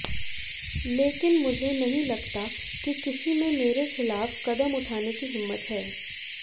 लेकिन मुझे नहीं लगता कि किसी में मेरे खिलाफ कदम उठाने की हिम्मत है